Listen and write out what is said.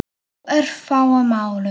Á örfáum árum.